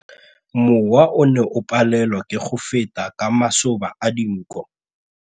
Mowa o ne o palelwa ke go feta ka masoba a dinko.